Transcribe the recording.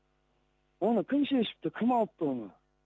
оны кім шешіпті кім алыпты оны